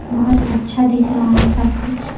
बहोत अच्छा दिख रहा है सब कुछ--